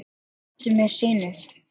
Er það sem mér sýnist?